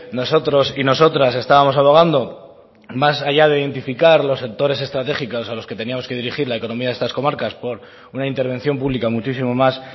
nosotros y nosotras estábamos abogando más allá de identificar los sectores estratégicos a los que teníamos que dirigir la economía de estas comarcas por una intervención pública muchísimo más